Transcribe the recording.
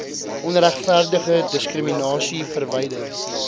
onregverdige diskriminasie verwyder